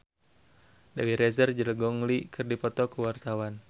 Dewi Rezer jeung Gong Li keur dipoto ku wartawan